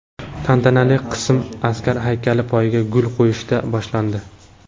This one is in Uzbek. Tantanali qism askar haykali poyiga gul qo‘yishdan boshlandi.